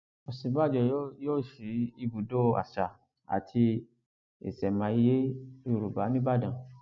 òsínbàbò yóò sí ibùdó àṣà àti ìṣẹmáyé yorùbá nìbàdàn